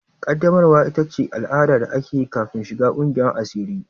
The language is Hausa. Ƙaddamarwa ita ce al'ada da ake yi kafin shiga ƙungiyar asiri.